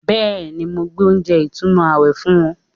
Bẹ́ẹ̀ni, mo gbé oúnjẹ ìtùnú àwẹ̀ fún wọn